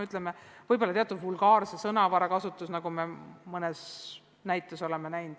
Ei sobi ka teatud vulgaarse sõnavara kasutus, nagu me mõne näite puhul oleme näinud.